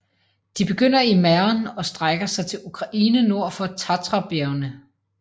De begynder i Mähren og strækker sig til Ukraine nord for Tatrabjergene